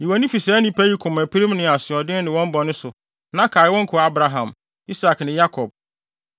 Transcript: Yi wʼani fi saa nnipa yi komapirim ne asoɔden ne wɔn bɔne so na kae wo nkoa Abraham, Isak ne Yakob.